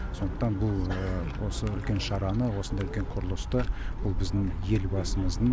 сондықтан бұл осы үлкен шараны осындай үлкен құрылысты бұл біздің елбасымыздың